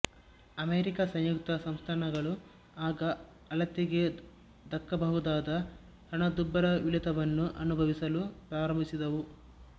America ಸಂಯುಕ್ತ ಸಂಸ್ಥಾನಗಳು ಆಗ ಅಳತೆಗೆ ದಕ್ಕಬಹುದಾದ ಹಣದುಬ್ಬರವಿಳಿತವನ್ನು ಅನುಭವಿಸಲು ಪ್ರಾರಂಭಿಸಿದವು